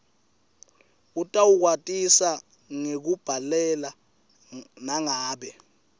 utawukwatisa ngekukubhalela nangabe